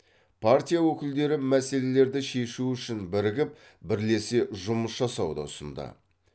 партия өкілдері мәселелерді шешу үшін бірігіп бірлесе жұмыс жасауды ұсынды